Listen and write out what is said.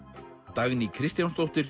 Dagný Kristjánsdóttir